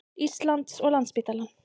Íslands og Landspítalann.